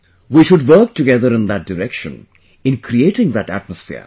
We should work together in that direction, in creating that atmosphere